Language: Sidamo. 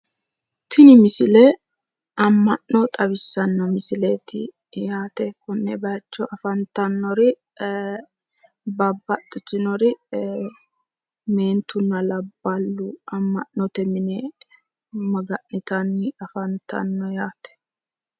Tini msilie ama'no xawissanno misileeti yaate konne bayicho afantannori babbaxxitinori meentunna labballu amma'note mine maga'nitanni afantanno yaate